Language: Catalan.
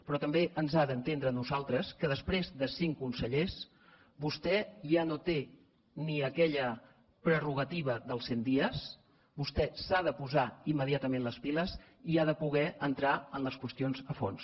però també ens ha d’entendre a nosaltres que després de cinc consellers vostè ja no té ni aquella prerrogativa dels cent dies vostè s’ha de posar immediatament les piles i ha de poder entrar en les qüestions a fons